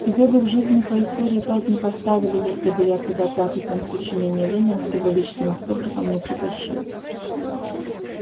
тебе бы в жизни по истории пять не поставили если бы я туда пятый том сочинений ленина с его личным автографом не притащил